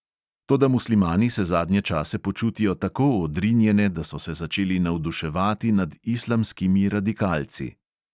Toda muslimani se zadnje čase počutijo tako odrinjene, da so se začeli navduševati nad islamskimi radikalci.